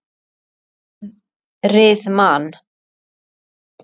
Norðrið man.